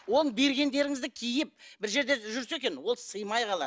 ол бергендіріңізді киіп бір жерде жүрсе екен ол сыймай қалады